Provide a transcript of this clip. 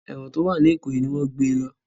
Èwọ̀n tó wà ní ìkòyí ni wọ́n gbé e lọ